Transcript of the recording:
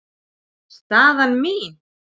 Staðan mín?